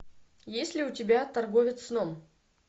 есть ли у тебя торговец сном